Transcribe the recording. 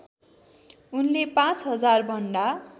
उनले पाँच हजारभन्दा